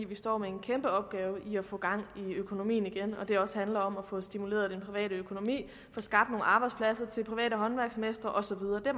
vi står med en kæmpe opgave med at få gang i økonomien igen og at det også handler om at få stimuleret den private økonomi og skabt nogle arbejdspladser til private håndværksmestre og så videre det